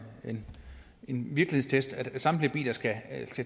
en virkelighedstest altså at samtlige biler skal